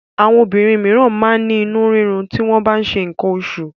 Àwọn obìnrin míràn máa ń ní inú rírun ti wọ́n bá ń ṣe nǹkan oṣù.